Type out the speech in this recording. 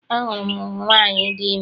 A hụrụ m nwaanyị di ime.